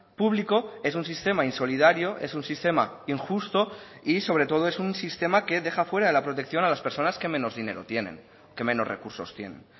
público es un sistema insolidario es un sistema injusto y sobre todo es un sistema que deja fuera de la protección a las personas que menos dinero tienen que menos recursos tienen